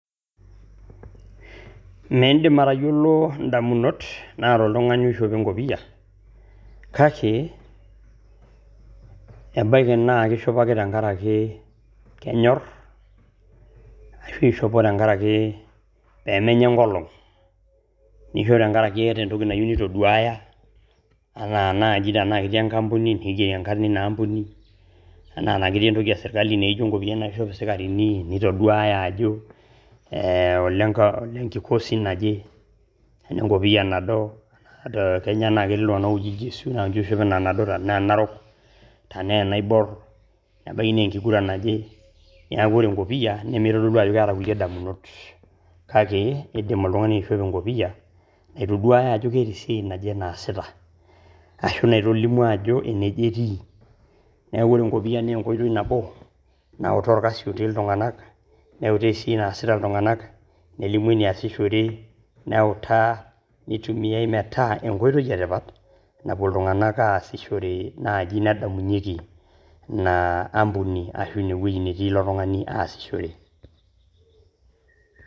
Miindim atayolo ndamunot naata oltungani oishopo enkopia kake ebaki naa eishopo ake tengaraki kenyorr ashu eishopo tengaraki pemenya enkolong ashu tengaraki ashu tengaraki eeta entoki nayeu neitoduuya ana anaaji le enkampuni enaa naa ketii entoki esirikali naaaijo enkopiyani naaishop sikarini neitoduuya ajo olenkikosi naje ,enaa enkopiya nado, etaa etii oshi oltungana ooji iljesiu naa ninche oshi oishop ina nado enaa narok, tenaaa enaibuar, ebaki nee enkiguran natii ,neaku ore enkopiya nemeitodolu ajo keeta kule damunot kake eidim oltungani aishopo enkopia naitoduaya ajo ketii esiaai enaaje neasita ashu naitolimu ajo ine eje etii ninye, neaku ore enkopia naa enkoitoi nabo nautaa orkasi otii ltunganak neutaa sii enaasita ltunganak ,nelimu eneasishore neutaa neitumiai metaa enkoitoi etipat napo ltunganak aasishore naaji nedamunyeki inaa ampuni ashu eweji netii ilo tungani aasishore.